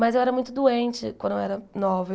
Mas eu era muito doente quando eu era nova.